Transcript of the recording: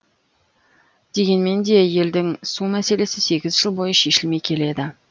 дегенмен де елдің су мәселесі сегіз жыл бойы шешілмей келеді